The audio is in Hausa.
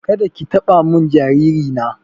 Kada ki taɓa mun jariri na!